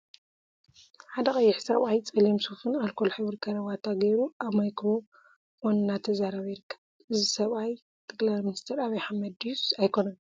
ሓደ ቀይሕ ሰብአይ ፀሊም ሱፍን አልኮል ሕብሪ ከረባታን ገይሩ አብ ማይክሮፎን እናተዛረበ ይርከብ፡፡ እዚ ሰብአይ ጠ/ሚ ዐብይ አሕመድ ድዩስ አይኮነን?